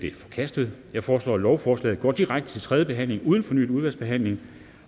er forkastet jeg foreslår at lovforslaget går direkte til tredje behandling uden fornyet udvalgsbehandling